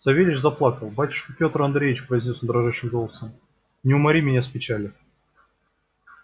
савельич заплакал батюшка пётр андреич произнёс он дрожащим голосом не умори меня с печали